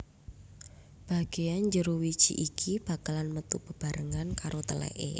Bageyan jero wiji iki bakalan metu bebarengan karo teleke